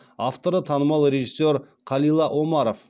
авторы танымал режиссер қалила омаров